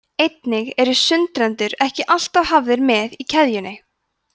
einnig eru sundrendur ekki alltaf hafðir með í keðjunni